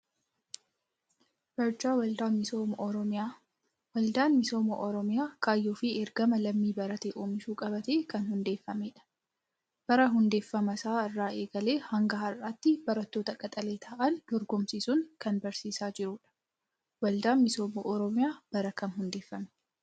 Barjaa Waldaa Misooma Oromiyaa. Waldaan Misooma Oromiyaa kaayyoo fi ergama lammii barate oomishuu qabatee kan hundeeffamedha. Bara hundeeffama isaa irraa eegalee hanga har'aatti barattoota qaxalee ta'an dorgomsiisuun kan barsiisaa jirudha. Waldaan Misooma Oromiyaa bara kam hundeeffame?